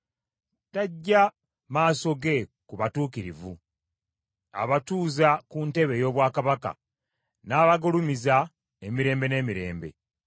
Taggya maaso ge ku batuukirivu, abatuuza ku ntebe ey’obwakabaka n’abagulumiza emirembe n’emirembe.